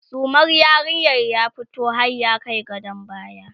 sumar yarinyar ya fito har ya Kai gadon baya